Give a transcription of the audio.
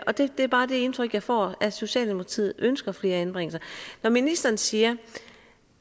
og det er bare det indtryk jeg får at socialdemokratiet ønsker flere anbringelser når ministeren siger